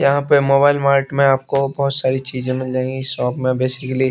यहां पे mobile mart में आपको बहुत सारी चीजें मिल जाएंगी शॉप में बेसिकली --